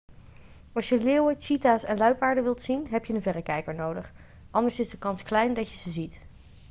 als je leeuwen cheeta's en luipaarden wilt zien heb je een verrekijker nodig anders is de kans klein dat je ze ziet